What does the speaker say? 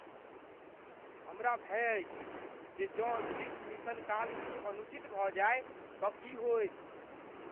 हमरा भय अछि जे जँ अन्तरिक्ष मिशन काल किछु अनुचित भऽ जाय तँ की होयत।